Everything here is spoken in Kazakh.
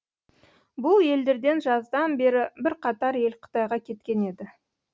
бұл елдерден жаздан бері бірқатар ел қытайға кеткен еді